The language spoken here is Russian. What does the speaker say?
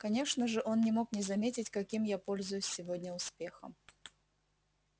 конечно же он не мог не заметить каким я пользуюсь сегодня успехом